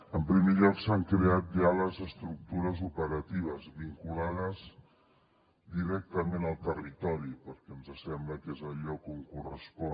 en primer lloc s’han creat ja les estructures operatives vinculades directament al territori perquè ens sembla que és el lloc on correspon